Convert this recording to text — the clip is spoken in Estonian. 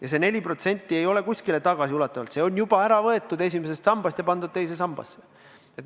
Ja see 4% ei maksta kuidagi tagasiulatuvalt, see on juba ära võetud esimesest sambast ja pandud teise sambasse.